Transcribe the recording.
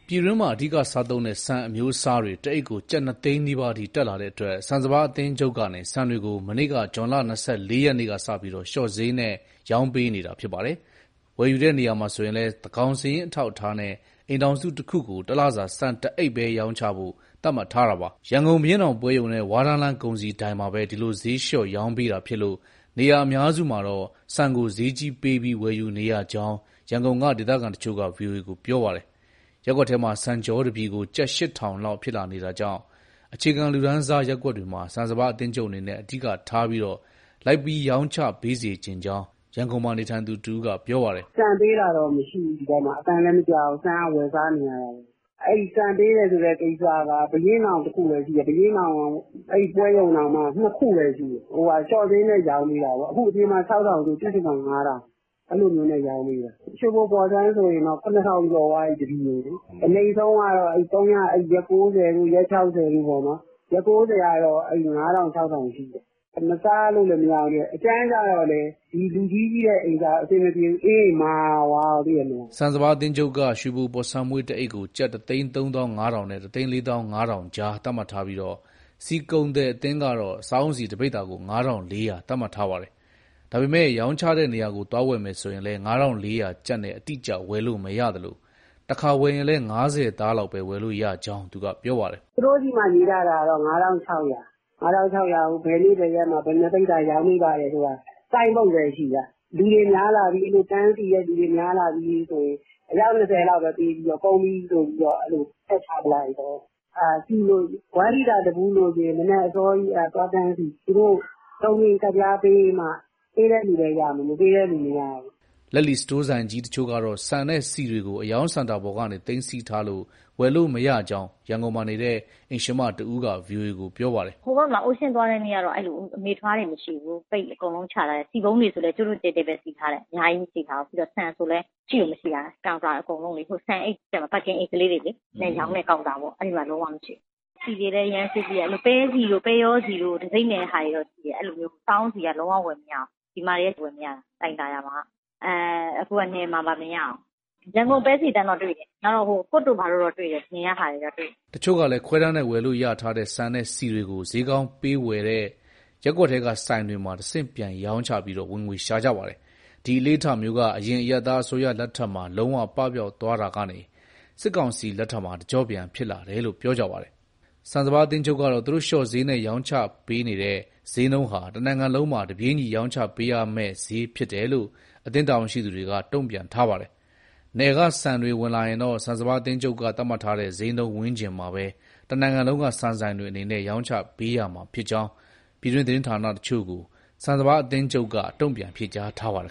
ပြည်တွင်းမှာ အဓိကစားသုံးတဲ့ ဆန်အမျိုးစားတွေ တအိတ်ကို ကျပ်၂သိန်းနီးပါးအထိ တက်လာတဲ့အတွက် ဆန်စပါးအသင်းချုပ်ကနေ ဆန်တွေကို မနေ့က ဇွန်လ၂၄ရက်ကစပြီး လျှော့စျေးနဲ့ရောင်းပေးနေတာဖြစ်ပါတယ်။ ဝယ်ယူတဲ့နေရာမှာဆိုရင်လည်း သန်းခေါင်းစာရင်း အထောက်အထားနဲ့ အိမ်ထောင်စုတခုကို တလစာ ဆန်တအိတ်ပဲ ရောင်းချဖို့ သတ်မှတ်ထားတာပါ။ ရန်ကုန်ဘုရင့်နောင်ပွဲရုံနဲ့ ဝါးတန်းလမ်းကုန်စည်ဒိုင်မှာပဲ ဒီလိုစျေးလျှော့ရောင်းပေးတာဖြစ်လို့ နေရာအများစုမှာတော့ ဆန်ကို စျေးကြီးပေးပြီး ဝယ်ယူနေရကြောင်း ရန်ကုန်က ဒေသခံတချို့က ဗွီအိုအေကို ပြောပါတယ်။ ရပ်ကွက်ထဲမှာဆန်ချောတပြည်ကို ကျပ် ၈,၀၀၀ လောက် ဖြစ်လာနေတာကြောင့် အခြေခံလူတန်းစားရပ်ကွက်တွေမှာ ဆန်စပါးအသင်းချုပ်အနေနဲ့ အဓိကထားပြီး လိုက်ပြီး ရောင်းပေးစေချင်ကြောင်း ရန်ကုန်မှာ နေထိုင်သူတဦးက ပြောပါတယ်။ " ဆန်ပေးတာတော့မရှိဘူး ဒီဘက်မှာ၊ အသံလည်းမကြားဘူး ဆန်ကဝယ်စားနေရတာပဲ။ အဲဒီဆန်ပေးတယ်ဆိုတဲ့ကိစ္စက ဘုရင့်နောင်တခုပဲရှိတယ်၊ ဘုရင့်နောင် ပွဲရုံတောင်မှ နှစ်ခုပဲရှိတယ်။ လျှော့စျေးနဲ့ ရောင်းပေးတာပေါ့၊ အခုအပြင်မှာ ၆ ၀၀၀ ဆို သူ့ဆီမှာ ၅ ၀၀၀ အဲလိုမျိုးနဲ့ ရောင်းပေးတာ။ ရွှေဘိုပေါ်ဆန်းဆို တပြည်ကို ၇,၀၀၀ ကျော်သွားပြီ။ အနိမ့်ဆုံးကတော့ ရက် ၉၀တို့၊ ရက်၆၀တို့ ။ ရက် ၉၀ကတော့ ၅၀၀၀၊ ၆၀၀၀ ရှိတယ်။ မစားလို့ရလည်း မရဘူးလေ၊ အကြမ်းကြတော့လည်း လူကြီးရဲ့အိမ်ကြ အဆင်မပြေဘူးလေ အေးရင်မာသွားရော သိတယ်မလား။" ဆန်စပါးအသင်းချုပ်က ရွှေဘိုပေါ်ဆန်းမွှေး တအိတ်ကို ကျပ် ၁၃၅,၀၀၀ နဲ့ ၁၄၅,၀၀၀ ကြားသတ်မှတ်ထားပြီး ဆီကုန်သည်အသင်းကတော့ စားအုန်းဆီတပိဿာကို ၅,၄၀၀ သတ်မှတ်ထားပါတယ်။ ဒါပေမဲ့ ဆန်စပါးအသင်းချုပ် ရောင်းချတဲ့နေရာကို သွား၀ယ်မယ်ဆိုရင်လည်း ၅,၄၀၀ကျပ် နဲ့အတိအကျဝယ်လို့မရသလို တခါ၀ယ်ရင်လည်း ၅၀သား လောက်ပဲ ဝယ်လို့ရကြောင်း သူကပြောပါတယ်။ " သူတို့ဆီမှာ ရေးထားတာတော့ ၅၆၀၀၊ ၅၆၀၀ ကိုဘယ်နေ့ဘယ်ရက်မှာ ရောင်းပေးပါတယ်ဆိုတာ ဆိုင်းဘုတ်ပဲရှိတာ၊ လူတွေများလာပြီ တန်းစီတဲ့သူတွေ များလာပြီဆိုရင် အယောက်၂၀လောက်ပဲ ပေးပြီးတော့ ကုန်ပြီဆိုပြီး ဖြတ်ချပစ်လိုကရော။ ဆီကို တလီတာတဗူးလိုချင်ရင် မနက်အစောကြီး သွားတန်းစီ၊ သူတို့ တုံကင်ကတ်ပြားပေးမှ ပေးတဲ့သူပဲရမယ်၊ မပေးတဲ့သူမရဘူး။" လက်လီ စတိုးဆိုင်ကြီးတချို့ကတော့ ဆန်နဲ့ ဆီတွေကို အရောင်းစင်တာပေါ်ကနေ သိမ်းဆည်းထားလို့ ဝယ်လို့မရကြောင်း ရန်ကုန်မှာနေတဲ့ အိမ်ရှင်မတဦးက ဗွီအိုအေကို ပြောပါတယ်။ " ဟိုဘက်မှာ Ocean သွားတဲ့နေ့ကတော့ အမေထွား(ပဲဆီ) တွေမရှိဘူး။ အကုန်လုံးချထားတယ်။ ဆီပုံးတွေဆိုလည်း ကြိုးတိုးကြဲတဲပဲ စီထားတယ် အများကြီးမစီထားဘူး။ ဆန်ဆိုလည်း ရှိကိုမရှိတာ၊ ဟိုဆန်ပါကင်အိတ်လေးတွေလေ။ အဲရောင်းတဲ့ကောင်တာမှာ လုံးဝမရှိဘူး။ ဆီတွေလည်း အရမ်းစျေးကြီးတယ်၊ ပဲဆီတို့ ပဲရောဆီတို့ တံဆိပ်နဲ့ဟာတွေတော့ရှိတယ်၊ စားအုန်းဆီက လုံးဝဝယ်မရဘူး၊ ဒီမှာတွေကဝယ်မရတာ လှိုင်သာယာမှာက။ အခုက နယ်မှာပါမရဘူး။ ရန်ကုန်ပဲဆီသန့်တော့တွေ့တယ်၊ COOK တို့ဘာတို့တော့ တွေ့တယ်၊ နယ်ကဟာတွေတော့ တွေ့တယ်။" တချို့ကလည်း ခွဲတမ်းနဲ့ဝယ်လို့ရထားတဲ့ ဆန်နဲ့ဆီတွေကို စျေးကောင်းပေးဝယ်တဲ့ ရပ်ကွက်ထဲက ဆိုင်တွေမှာ တဆင့်ပြန်ရောင်းချပြီး ဝင်ငွေရှာကြပါတယ်။ ဒီအလေ့အထမျိုးက အရင် အရပ်သားအစိုးရလက်ထက်မှာ လုံးဝပပျောက်သွားတာကနေ စစ်ကောင်စီလက်ထက်မှာ တကြော့ပြန် ဖြစ်လာတယ်လို့ ပြောကြပါတယ်။ ဆန်စပါးအသင်းချုပ်ကတော့ သူတို့လျှော့စျေးနဲ့ ရောင်းချနေတဲ့စျေးနှုန်းဟာ တနိုင်ငံလုံးမှာ တပြေးညီရောင်းချပေးရမဲ့ စျေးဖြစ်တယ်လို့ အသင်းတာဝန်ရှိသူတွေက တုံ့ပြန်ထားပါတယ်။ နယ်ကဆန်တွေ ဝင်လာရင်တော့ ဆန်စပါးအသင်းချုပ်က သတ်မှတ်ထားတဲ့ စျေးနှုန်းဝန်းကျင်မှာပဲ တနိုင်ငံလုံးက ဆန်ဆိုင်တွေအနေနဲ့ ရောင်းချပေးရမှာဖြစ်ကြောင်း ပြည်တွင်းသတင်းဌာနတချို့ကို ဆန်စပါးအသင်းချုပ်က တုံ့ပြန်ဖြေကြားထားပါတယ်